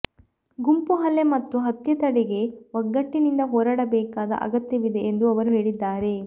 ಗುಂಪು ಹಲ್ಲೆ ಮತ್ತು ಹತ್ಯೆ ತಡೆಗೆ ಒಗ್ಗಟ್ಟಿನಿಂದ ಹೋರಾಡಬೇಕಾದ ಅಗತ್ಯವಿದೆ ಎಂದು ಅವರು ಹೇಳಿದ್ದಾರೆ